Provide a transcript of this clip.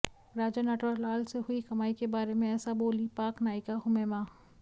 राजा नटवरलाल से हुई कमाई के बारे में ऐसा बोलीं पाक नायिका हुमैमा